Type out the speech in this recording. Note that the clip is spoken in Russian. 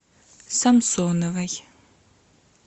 самсоновой